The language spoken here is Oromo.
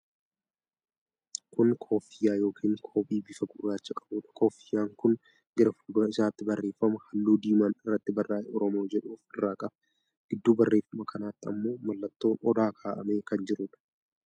Kun kooffiyyaa yookiin qoobii bifa gurraacha qabuudha. Koffiyyaan kun gara fuuldura isaatti barreeffama halluu diimaan irratti barraa'e 'Oromoo' jedhu of irraa qaba. Giddu barreeffama kanaatti ammoo mallattoon odaa kaa'amee kan jiruudha.